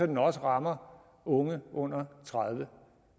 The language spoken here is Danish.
den også rammer unge under tredive